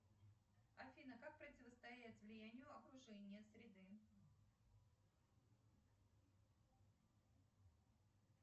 афина как противостоять влиянию окружения среды